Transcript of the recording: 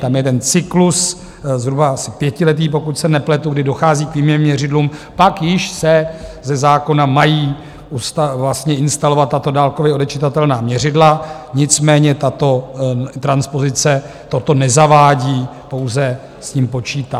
Tam je ten cyklus zhruba asi pětiletý, pokud se nepletu, kdy dochází k výměně měřidel, pak již se ze zákona mají vlastně instalovat tato dálkově odečitatelná měřidla, nicméně tato transpozice toto nezavádí, pouze s tím počítá.